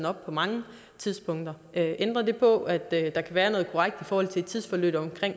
op på mange tidspunkter ændrer det på at der kan være noget korrekt i forhold til et tidsforløb